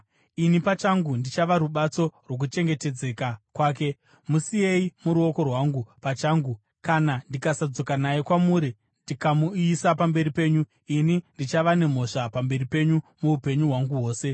Ini pachangu ndichava rubatso rwokuchengetedzeka kwake; musiyei muruoko rwangu pachangu. Kana ndikasadzoka naye kwamuri ndikamumisa pamberi penyu, ini ndichava nemhosva pamberi penyu muupenyu hwangu hwose.